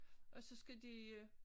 Og så skal de øh